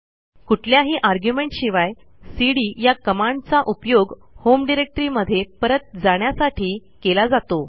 कुठल्याही आर्ग्युमेंट शिवाय सीडी या कमांडचा उपयोग होम डिरेक्टरीमध्ये परत जाण्यासाठी केला जातो